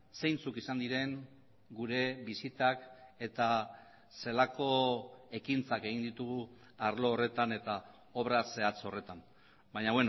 zeintzuk izan diren gure bisitak eta zelako ekintzak egin ditugu arlo horretan eta obra zehatz horretan baina